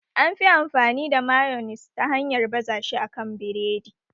Anyi fi amfani da mayonis ta hanyar baza shi a kan biredi